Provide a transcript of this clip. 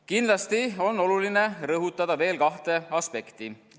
Kindlasti on oluline rõhutada veel kahte aspekti.